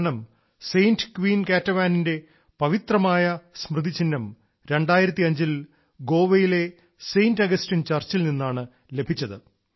കാരണം Saint queen കാറ്റവാനിന്റെ പവിത്രമായ സ്മൃതിചിഹ്നം 2005 ൽ ഗോവയിലെ സെന്റ് അഗസ്റ്റിൻ ചർച്ചിൽ നിന്നാണ് ലഭിച്ചത്